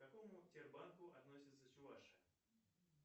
к какому тербанку относится чувашия